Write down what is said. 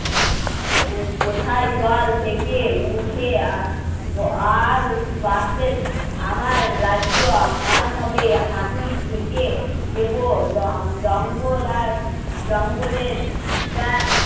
এ কোথায় জল থেকে উঠে আ আর বাসবে আমার রাজ্য আমার হবে মাটির ঢেকে দেবো জঙ্গল আর জঙ্গলের ব্রাঞ্চ